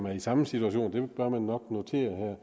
er i samme situation det bør man nok notere her